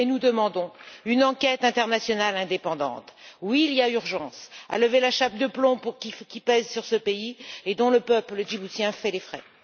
Nous demandons une enquête internationale indépendante. Oui, il y a urgence à lever la chape de plomb qui pèse sur ce pays et dont le peuple djiboutien fait les frais.